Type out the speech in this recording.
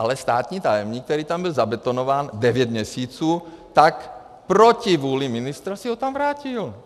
Ale státní tajemník, který tam byl zabetonován devět měsíců, tak proti vůli ministra si ho tam vrátil.